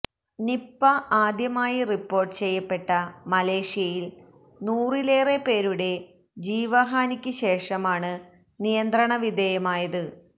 Nipah ആദ്യമായി report ചെയ്യപ്പെട്ട മലേഷ്യയില് നൂറിലേറെ പേരുടെ ജീവഹാനിക്ക് ശേഷമാണ് നിയന്ത്രണവിധേയമായത്